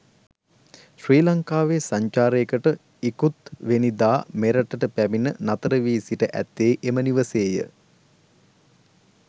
ශ්‍රී ලංකාවේ සංචාරයකට ඉකුත්වෙනිදා මෙරටට පැමිණ නතරවී සිට ඇත්තේ එම නිවසේය.